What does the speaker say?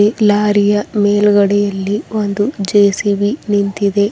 ಇಲ್ಲಿ ಲಾರಿಯ ಮೇಲ್ಗಡೆ ಇಲ್ಲಿ ಒಂದು ಜೆ_ಸಿ_ಬಿ ನಿಂತಿದೆ.